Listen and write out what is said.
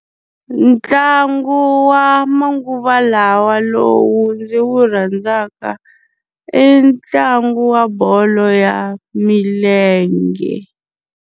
Ntlangu wa manguva lawa lowu ndzi wu rhandzaka, i ntlangu wa bolo ya milenge.